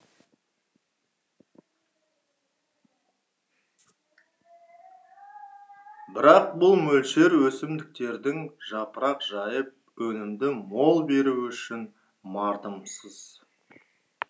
бірақ бұл мөлшер өсімдіктердің жапырақ жайып өнімді мол беруі үшін мардымсыз